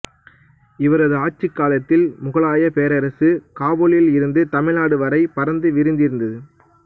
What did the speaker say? இவரது ஆட்சிக் காலத்தில் முகலாயப் பேரரசு காபுலில் இருந்து தமிழ்நாடு வரை பரந்து விரிந்திருந்தது